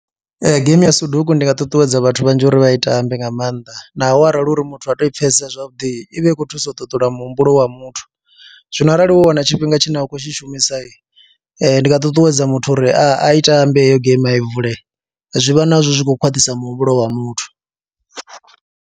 Ee, geimi ya Soduku ndi nga ṱuṱuwedza vhathu vhanzhi uri vha tambe nga maanḓa naho arali hu uri muthu ha tou i pfhesesa zwavhuḓi i vha i khou thusa u ṱuṱula muhumbulo wa muthu, zwino arali wo wana tshifhinga tshine a khou tshi shumisa ndi nga ṱuṱuwedza muthu uri a ite ambe heyo geimi a i vule zwi vha nazwo zwi khou khwaṱhisa muhumbulo wa muthu.